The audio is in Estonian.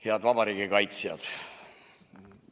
Head vabariigi kaitsjad!